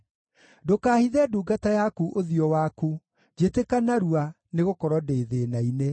Ndũkahithe ndungata yaku ũthiũ waku; njĩtĩka narua, nĩgũkorwo ndĩ thĩĩna-inĩ.